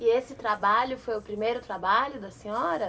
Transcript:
E esse trabalho foi o primeiro trabalho da senhora?